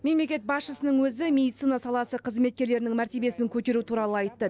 мемлекет басшысының өзі медицина саласы қызметкерлерінің мәртебесін көтеру туралы айтты